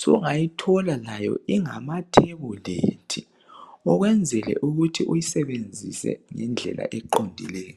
Sungayithola layo ingamathebulethi ukwenzela ukuthi uyisebenzise ngendlela eqondileyo.